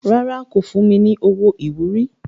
Rárá, kò fún mi ní owó ìwúrí.